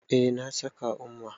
Eh, na saka umma